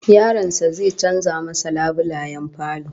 Yaron sa zai canza masa labulayen falo